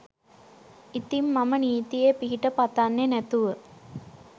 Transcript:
ඉතිං මම නීතියේ පිහිට පතන්නෙ නැතුව